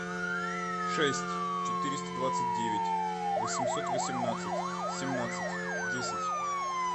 шесть четыреста двадцать девять восемьсот восемнадцать семнадцать десять